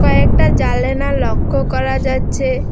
একটা জালানা লক্ষ করা যাচ্ছে।